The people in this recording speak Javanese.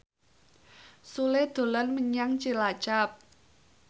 Sule dolan menyang Cilacap